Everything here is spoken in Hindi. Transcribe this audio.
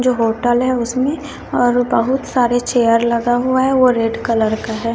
जो होटल है उसमें और बहुत सारे चेयर लगा हुआ है वो रेड कलर का है।